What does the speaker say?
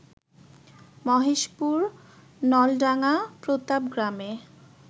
মহেশপুর, নলডাঙ্গা, প্রতাপ গ্রামে